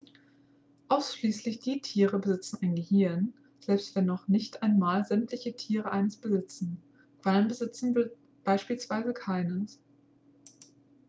ausschließlich die tiere besitzen ein gehirn selbst wenn noch nicht einmal sämtliche tiere eines besitzen; quallen besitzen beispielsweise keines